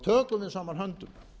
tökum við saman höndum